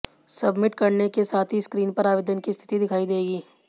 submit करने के साथ ही स्क्रीन पर आवेदन की स्थिति दिखाई देगी